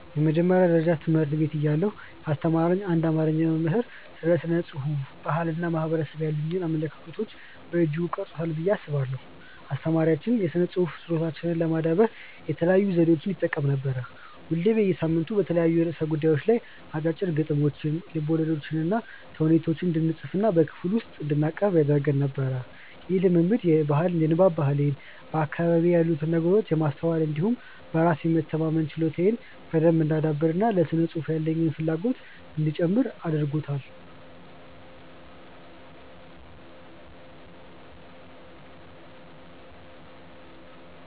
የመጀመሪያ ደረጃ ትምህርት ቤት እያለሁ ያስተማረኝ አንድ አማርኛ መምህር ስለ ስነ ጽሁፍ፣ ባህል እና ማህበረሰብ ያሉኝን አመለካከት በእጅጉ ቀርጾታል ብዬ አስባለሁ። አስተማሪያችን የስነ ጽሁፍ ችሎታችንን ለማዳበር የተለያዩ ዘዴዎችን ይጠቀም ነበር። ሁሌ በየሳምንቱ በተለያዩ ርዕሰ ጉዳዮች ላይ አጫጭር ግጥሞችን፣ ልቦለዶችንና ተውኔት እንድንፅፍና በክፍል ውስጥ እንድናቀርብ ያደርግ ነበር። ይህ ልምምድ የንባብ ባህሌን፣ በአካባቢዬ ያሉትን ነገሮች የማስተዋል እንዲሁም በራስ የመተማመን ችሎታዬን በደንብ እንዳዳብር እና ለስነ ጽሁፍ ያለኝን ፍላጎትም እንዲጨምር አድርጓል።